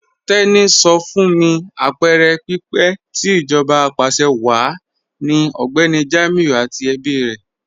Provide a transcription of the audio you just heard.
Teni sọ fún mí apẹẹrẹ pípẹ̀ tì íjọba apàṣẹwàá ni Ọgbẹni Jamiu àti ẹ̀bí rè.